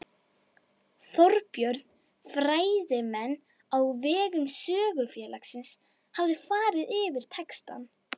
Þorbjörn: Fræðimenn á vegum Sögufélagsins hafa farið yfir textann?